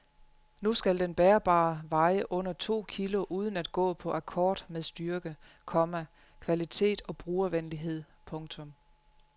Nu skal den bærbare veje under to kilo uden at gå på akkord med styrke, komma kvalitet og brugervenlighed. punktum